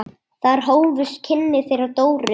Þar hófust kynni þeirra Dóru.